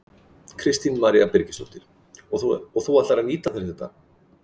Kristín María Birgisdóttir: Og þú ætlar að nýta þér þetta?